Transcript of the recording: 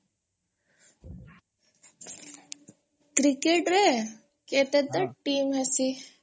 କ୍ରିକେଟରେ କେତେଟା tea ହେସି?